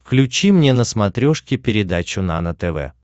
включи мне на смотрешке передачу нано тв